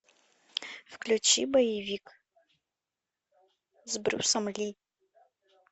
включи боевик с брюсом ли